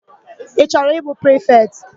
Ị chọrọ ịbụ prifetị?